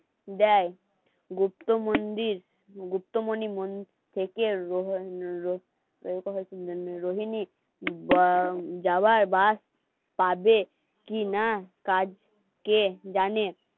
দেয় গুপ্ত মন্দির, গুপ্তমনি মন্দির থেকে রোহিণী যাওয়ায় বাস পাবে কিনা কার্যে জানে